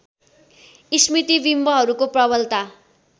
स्मृतिबिम्बहरूको प्रबलता